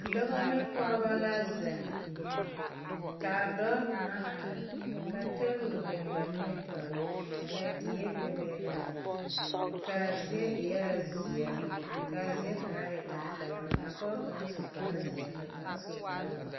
Dɔba ne pɔgeba la zeŋ ka a dɔɔ kaŋa are ka table biŋ ba nimitɔɔre ka die bebe la ka a zie eɛɛ zie ka a zie kaŋa e tampɛloŋ a pɔge kaŋa su kparezeɛ ka kaŋa su kpare.